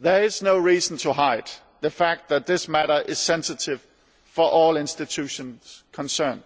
There is no reason to hide the fact that this matter is sensitive for all the Institutions concerned.